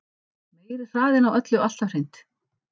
Meiri hraðinn á öllu alltaf hreint.